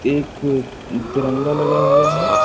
एक तिरंगा लगा हुआ है।